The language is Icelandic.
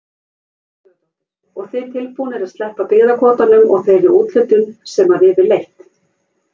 Guðrún Sigurðardóttir: Og þið tilbúnir að sleppa byggðakvótanum og þeirri úthlutun sem að yfirleitt?